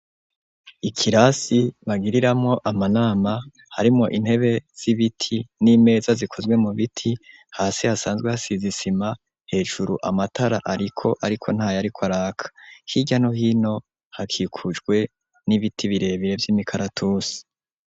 Ikirasi bagiriramwo amanama harimwo intebe z'ibiti n'imeza zikozwe mu biti hasi hasanzwe hasizisima hejuru amatara, ariko, ariko nta yariko araka hirya nohino hakikujwe n'ibiti birebire vy'imikaratusi.